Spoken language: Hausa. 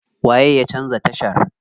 Waye ya canza tashar?